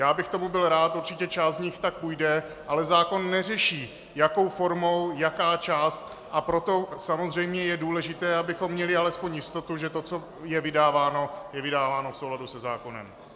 Já bych tomu byl rád, určitě část z nich tak půjde, ale zákon neřeší, jakou formou, jaká část, a proto samozřejmě je důležité, abychom měli alespoň jistotu, že to, co je vydáváno, je vydáváno v souladu se zákonem.